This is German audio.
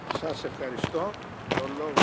Herr Präsident, geschätzte Kollegen!